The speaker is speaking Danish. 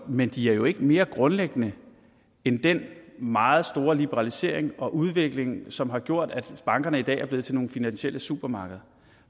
men de er jo ikke mere grundlæggende end den meget store liberalisering og udvikling som har gjort at bankerne i dag er blevet til nogle finansielle supermarkeder